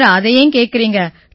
sir அதை ஏன் கேக்கறீங்க